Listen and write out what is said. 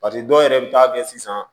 paseke dɔw yɛrɛ be taa kɛ sisan